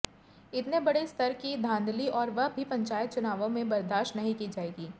इतने बड़े स्तर की धांधली और वह भी पंचायत चुनावों में बर्दाश्त नहीं की जाएगी